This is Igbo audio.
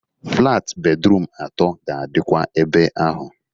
Flat bedrum atoo ga-adikwa ebe ahụ.